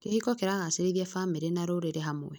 Kĩhiko kĩragacĩrithia bamĩrĩ na rũrĩrĩ hamwe.